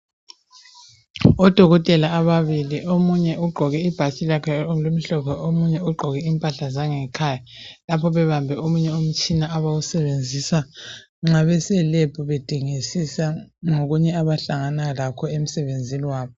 Odokotela ababili omunye ugqoke ibhatshi lakhe elimhlophe omunye ugqoke impahla zangekhaya lapha bebambe omunye umtshina abawusebenzisa nxa beselebhu bedingisisa ngokunye abahlangana lakho emsebenzini wabo.